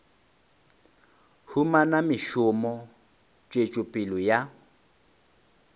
humana mešomo tswetšo pele ya